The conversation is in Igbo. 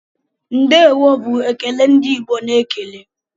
"Ndeewo" bụ ekele ndị Igbo na-ekele.